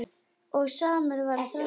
Og samur var þroski minn.